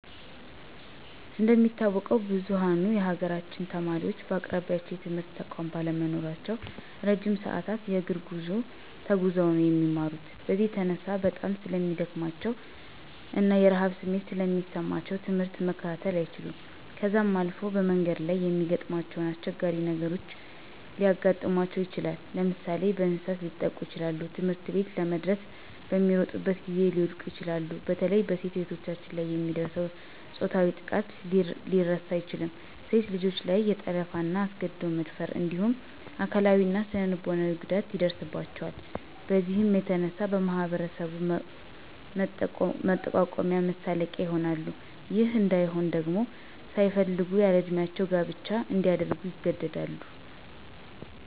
እንደሚታወቀው ብዝኋኑ የሀገራችን ተማሪወች በአቅራቢያቸው የትምህርት ተቋማት ባለመኖራቸው እረጅም ሰዐት የእግር ጉዞ ተጉዘው ነው የሚማሩት። በዚህም የተነሳ በጣም ስለሚደክማቸው እና የረሀብ ስሜት ስለሚሰማቸው ትምህርት መከታተል አይችሉም .ከዛም አልፎ በመንገድ ላይ የሚያጋጥማቸው አስቸጋሪ ነገሮች ሊያጋጥማቸው ይችላል። ለምሳሌ፦ በእንሰሳት ሊጠቁ ይችላሉ, ትምህርትቤት ለመድረስ በሚሮጡበት ጊዜ ሊወድቁ ይችላሉ። በተለይ በሴት እህቶቻችን ላይ የሚደርሰው ፆታዊ ጥቃት ሊረሳ አይችልም .ሴት ልጆች ላይ የጠለፋ, አስገድዶ የመደፈር እንዲሁም አካላዊ እና ስነልቦናዊ ጉዳት ይደርስባቸዋል። በዚህም የተነሳ በማህበረሰቡ መጠቋቆሚያ መሳለቂያ ይሆናል .ይህ እንይሆን ደግሞ ሳይፈልጉ ያለእድሜ ጋብቻ እንዲያደርጉ ይገደዳሉ።